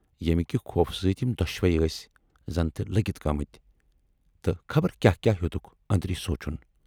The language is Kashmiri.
ییمہِ کہِ خوفہٕ سۭتۍ یِم دۅشوٕے ٲسۍ زَن تہِ لٔگِتھ گٲمٕتۍ تہٕ خبر کیاہ کیاہ ہیوتُکھ ٲندری سونچُن۔